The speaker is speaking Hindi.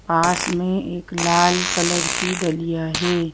पास में एक लाल कलर की डलिया है।